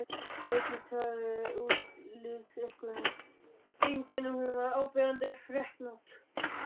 Vigdís hafði það útlitseinkenni að hún var áberandi freknótt.